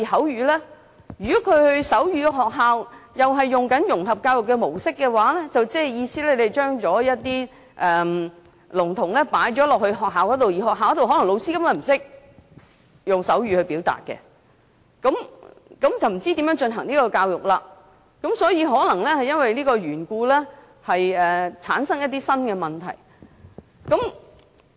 如果他們入讀採用融合教育模式的學校的話，即是說，聾童就讀學校的老師根本不懂得用手語，那麼不知他們怎樣接受教育了，而因為這個緣故，可能會產生新的問題。